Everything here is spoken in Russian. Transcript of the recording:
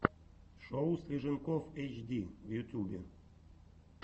шоу слиженков эйчди в ютьюбе